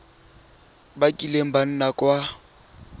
ba kileng ba nna kwa